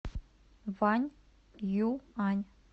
ваньюань